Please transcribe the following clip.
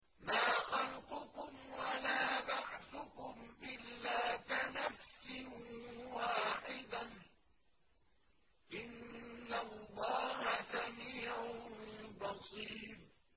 مَّا خَلْقُكُمْ وَلَا بَعْثُكُمْ إِلَّا كَنَفْسٍ وَاحِدَةٍ ۗ إِنَّ اللَّهَ سَمِيعٌ بَصِيرٌ